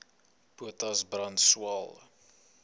potas brand swael